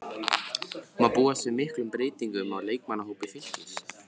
Má búast við miklum breytingum á leikmannahópi Fylkis?